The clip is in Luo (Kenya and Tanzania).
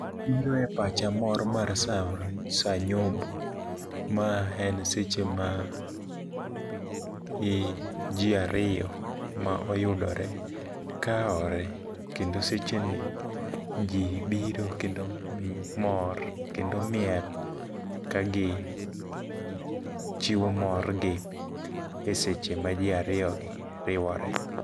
Biro e pacha mor mar sa nyombo, ma en seche ma ji ariyo ma oyudore kaore. Kendo seche ni ji biro kendo mor, kendo miel ka gi chiwo mor gi e seche ma ji ariyo gi riwore.